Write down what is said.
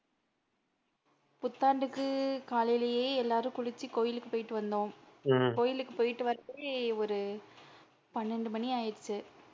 புத்தாண்டுக்கு காலையிலே எல்லாரும் குளிச்சி கோயிலுக்கு போயிட்டு வந்தோம் கோயிலுக்கு போயிட்டு வரதுக்கு ஒரு பன்னண்டு மணி ஆயிடுச்சு.